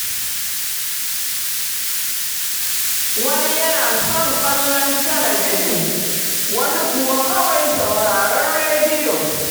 Wani yana son kallon talabijin, wani kuwa kawai sauraron rediyo.